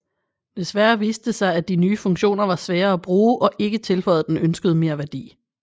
Desværre viste det sig at de nye funktioner var svære at bruge og ikke tilføjede den ønskede merværdi